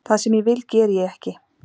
Það sem ég vil geri ég ekki